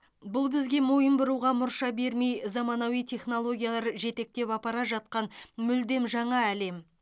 бұл бізге мойын бұруға мұрша бермей заманауи технологиялар жетектеп апара жатқан мүлдем жаңа әлем